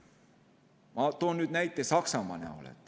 Ma toon näiteks Saksamaa.